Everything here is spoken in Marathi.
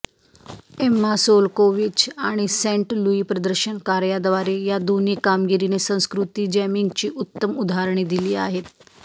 एम्मा सोलकोविच आणि सेंट लुई प्रदर्शनकार्याद्वारे या दोन्ही कामगिरीने संस्कृती जॅमिंगची उत्तम उदाहरणे दिली आहेत